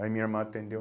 Aí minha irmã atendeu.